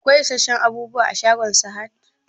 Akwai isasshen abubuwa a shagon Sahad?